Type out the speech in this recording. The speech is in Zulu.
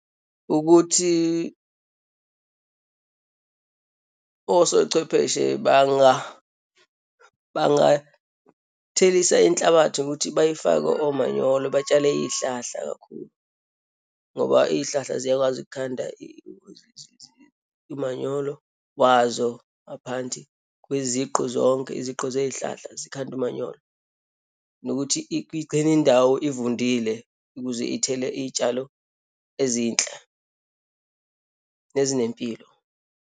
Ukuthi osochwepheshe bangathelisa inhlabathi ukuthi bayifake omanyolo, batshale iyihlahla kakhulu ngoba iyihlahla ziyakwazi ukukhanda umanyolo wazo ngaphandi kweziqu zonke, iziqu zeyihlahla zikhande umanyolo. Nokuthi igcine indawo ivundile ukuze ithele iyitshalo ezinhle, nezinempilo.